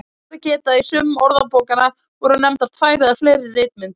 Rétt er að geta að í sumum orðabókanna voru nefndar tvær eða fleiri ritmyndir.